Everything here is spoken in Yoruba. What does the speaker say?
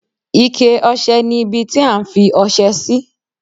Ike ọṣẹ ni ibi tí a ń fi ọṣẹ sí.